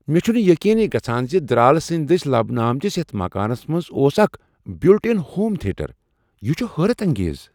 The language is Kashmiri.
مےٚ چُھنہٕ یقینٕے گژھان زِ درالہٕ سٕنٛدۍ دٔسۍ لبنہٕ آمتس یتھ مکانس منٛز اوس اکھ بلٹ ان ہوم تھیٹر۔ یِہ چُھ حیرت انگیز !